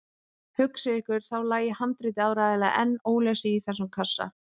Hugsið ykkur, þá lægi handritið áreiðanlega enn ólesið í þessum kassa!